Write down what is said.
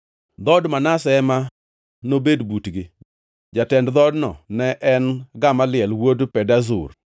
Dhood Manase ema nobed butgi. Jatend dhoodno ne en Gamaliel wuod Pedazur.